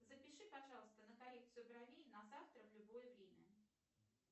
запиши пожалуйста на коррекцию бровей на завтра на любое время